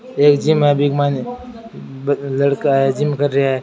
एक जिम है बि के माइन लड़का है जिम कर रहा है।